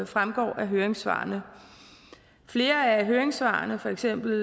fremgår af høringssvarene flere af høringssvarene for eksempel